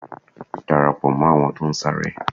Darapo mó àwọn tó ń sáré.